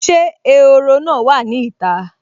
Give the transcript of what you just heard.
Ṣé ehoro náà wà ní ìta?